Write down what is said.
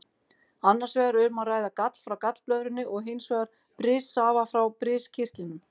Annars vegar er um að ræða gall frá gallblöðrunni og hins vegar brissafa frá briskirtlinum.